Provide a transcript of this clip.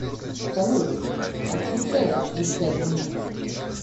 салют отключайся через пять минут